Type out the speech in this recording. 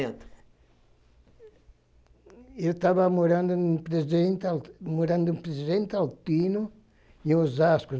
Eu estava morando no Presidente Alti eu estava morando no Presidente Altino, em Osasco.